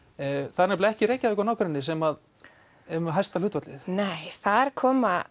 það er nefnilega ekki Reykjavík og nágrenni sem er með hæsta hlutfallið nei þar koma